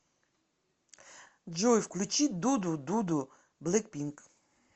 джой включи ду ду ду ду блэкпинк